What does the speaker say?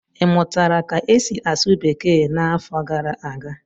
ị mụtara ka esi asụ bekee n'afọ gara aga?